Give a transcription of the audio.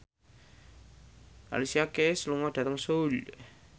Alicia Keys lunga dhateng Seoul